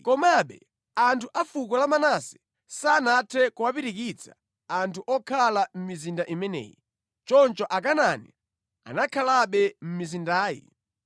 Komabe anthu a fuko la Manase sanathe kuwapirikitsa anthu okhala mʼmizinda imeneyi. Choncho Akanaani anakhalabe mʼmizindayi.